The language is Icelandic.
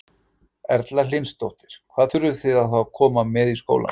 Erla Hlynsdóttir: Hvað þurfið þið þá að koma með í skólann?